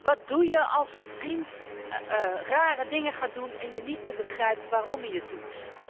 Wat doe je als een vriend rare dingen gaat doen en je niet meer begrijpt waarom hij het doet?